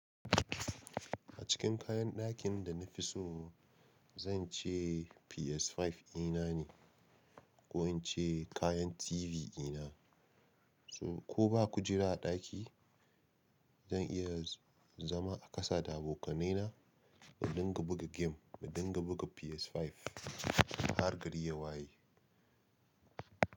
A cikin kayan dakin da na fi so, zan ce PS5 inane ko ince kayan TV ina. Ko ba kujera a ɗaki, zan iya zama a kasa da abokanai na, mu dinga buga game, mu dinga buga PS5. Har gari ya waye.